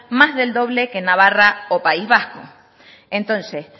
más del doble que en navarra o país vasco entonces